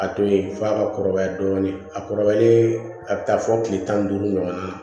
A to ye f'a ka kɔrɔbaya dɔɔnin a kɔrɔbalen a bɛ taa fɔ kile tan ni duuru ɲɔgɔn na